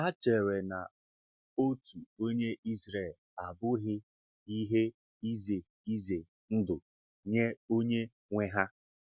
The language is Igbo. Hà chèrè na òtu onye Ịzrel abụghị ihe ize ize ndụ nye onye nwe ha?